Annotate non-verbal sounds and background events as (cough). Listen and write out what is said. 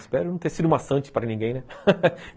Espero não ter sido maçante para ninguém (laughs)